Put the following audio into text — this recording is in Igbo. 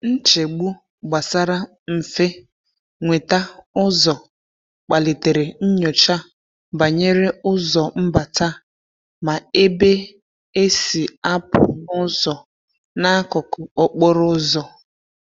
Nchegbu gbasara mfe nweta ụzọ kpalitere nnyocha banyere ụzọ mbata ma ebe e si a pụ na ụzọ n'akụkụ okporo ụzọ.